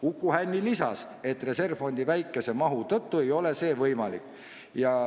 Uku Hänni lisas, et reservfondi väikese mahu tõttu ei ole see võimalik.